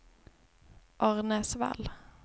Arnäsvall